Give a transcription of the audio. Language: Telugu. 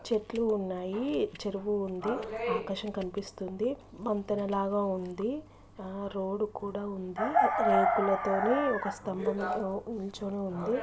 చెట్లు ఉన్నాయి. చెరువు ఉంది. ఆకాశం కనిపిస్తుంది. వంతెనలాగా ఉంది. రోడ్డు కూడా ఉంది. రేకులతోని ఒక స్తంభంతో నిల్చుని ఉంది.